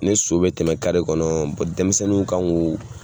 Ni so bɛ tɛmɛ kare kɔnɔ denmisɛnninw kan k'o